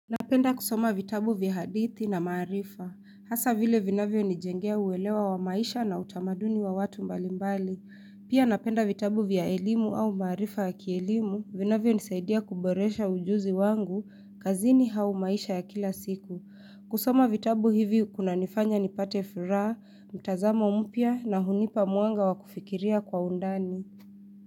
Napenda kusoma vitabu vya hadithi na maarifa, hasa vile vinavyo nijengea uelewa wa maisha na utamaduni wa watu mbalimbali. Pia napenda vitabu vya elimu au maarifa ya kielimu, vinavyo nisaidia kuboresha ujuzi wangu, kazini au maisha ya kila siku. Kusoma vitabu hivi kuna nifanya nipate furaha, mtazamo mpya na hunipa mwanga wa kufikiria kwa undani.